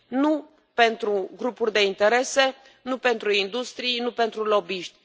Nu pentru grupuri de interese, nu pentru industrii, nu pentru lobbyiști.